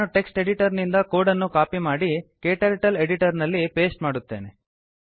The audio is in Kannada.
ನಾನು ಟೆಕ್ಸ್ಟ್ editorನಿಂದ ಕೋಡ್ ಅನ್ನು ಕಾಪಿ ಮಾಡಿ ಕ್ಟರ್ಟಲ್ ಎಡಿಟರ್ ನಲ್ಲಿ ಪಾಸ್ಟೆ ಮಾಡುತ್ತೇನೆ